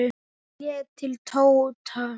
Hann leit til Tóta.